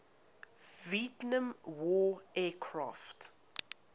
vietnam war aircraft